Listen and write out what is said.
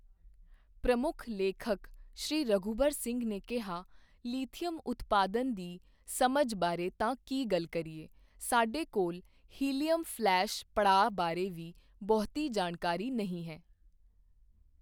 ਪ੍ਰਮੁੱਖ ਲੇਖਕ ਸ੍ਰੀ ਰਘੁਬਰ ਸਿੰਘ ਨੇ ਕਿਹਾ, ਲੀਥੀਅਮ ਉਤਪਾਦਨ ਦੀ ਸਮਝ ਬਾਰੇ ਤਾਂ ਕੀ ਗੱਲ ਕਰੀਏ, ਸਾਡੇ ਕੋਲ ਹੀਲੀਅਮ ਫਲੈਸ਼ ਪੜਾਅ ਬਾਰੇ ਵੀ ਬਹੁਤੀ ਜਾਣਕਾਰੀ ਨਹੀਂ ਹੈ।